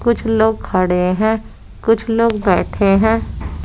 कुछ लोग खड़े हैं कुछ लोग बैठे हैं।